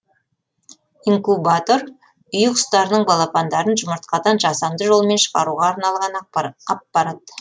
инкубатор үй құстарының балапандарын жұмыртқадан жасанды жолмен шығаруға арналған аппарат